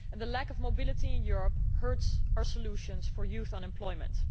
The lack of mobility in Europe hurts our solutions to youth unemployment.